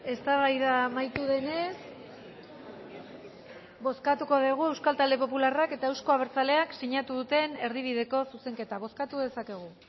eztabaida amaitu denez bozkatuko degu euskal talde popularrak eta euzko abertzaleak sinatu duten erdibideko zuzenketa bozkatu dezakegu